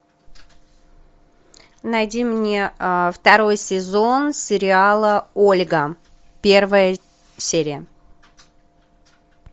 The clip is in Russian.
найди мне второй сезон сериала ольга первая серия